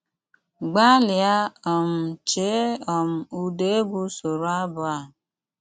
Gbálíá um chéé um ụ́dá égwú sóró ábụ́ á!